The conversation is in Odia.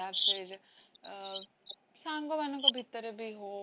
ଅ ସାଙ୍ଗମାନଙ୍କ ଭିତରେବି ହଉ,